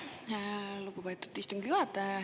Aitäh, lugupeetud istungi juhataja!